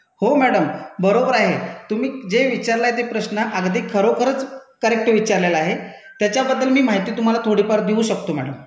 हो मैडम, बरोबर आहे. तुम्ही जे विचारलाय ते प्रश्न अगदी खरोखरंच करेक्ट विचारलेला आहे, त्याच्या बद्दल मी माहिती तुम्हाला थोडी फार देऊ शकतो मैडम.